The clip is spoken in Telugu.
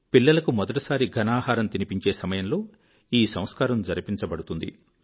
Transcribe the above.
పిల్లలకు మొదటి సారి ఘనాహారం తినిపించే సమయంలో ఈ సంస్కారం జరిపించబడుతుంది